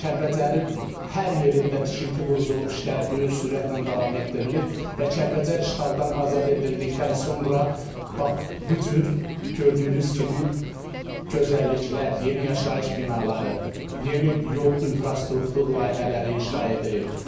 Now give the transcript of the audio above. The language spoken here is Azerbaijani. Kəlbəcərin hər yerində tikinti, quruculuq işləri böyük sürətlə davam etdirilir və Kəlbəcər işğaldan azad edildikdən sonra bax bu cür gördüyünüz kimi gözəlliklər, yeni yaşayış binaları, yeni yol infrastruktur layihələri inşa edilir.